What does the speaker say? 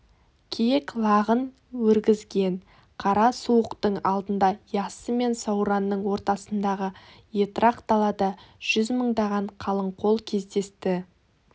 киік лағын өргізген қара суықтың алдында яссы мен сауранның ортасындағы етрақ далада жүз мыңдаған қалың қол кездесті